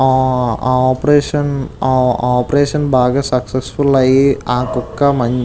ఆ ఆ ఆ ఆపరేషన్ ఆ ఆపరేషన్ బాగా సక్సెస్ ఫుల్ అయ్యి ఆ కుక్క మంచి --